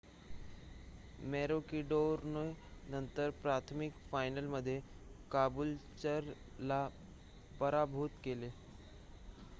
मॅरोकिडोरने नंतर प्राथमिक फायनलमध्ये काबूलचरला पराभूत केले